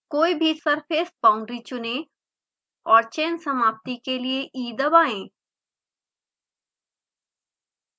कोई भी surface boundary चुनें और चयन समाप्ति के लिए e दबाएँ